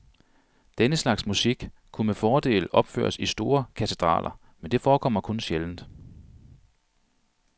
Denne slags musik kunne med fordel opføres i store katedraler, men det forekommer kun sjældent.